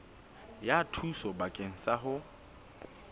ya thuso bakeng sa ho